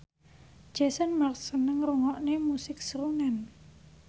Jason Mraz seneng ngrungokne musik srunen